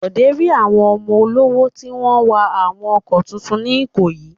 Bọ̀dé rí àwọn ọmọ olówó tí wọ́n ń wa àwọn ọkọ̀ tuntun ní Ìkòyí.